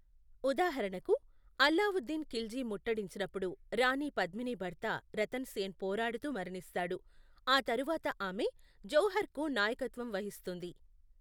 ఉదాహరణకు, అల్లావుద్దీన్ ఖిల్జీ ముట్టడించినప్పుడు రాణి పద్మిని భర్త రతన్ సేన్ పోరాడుతూ మరణిస్తాడు, ఆ తరువాత ఆమె జౌహర్కు నాయకత్వం వహిస్తుంది.